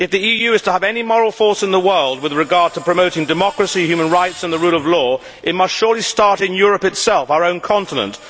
If the EU is to have any moral force in the world with regard to promoting democracy, human rights and the rule of law, it must surely start in Europe itself, our own continent.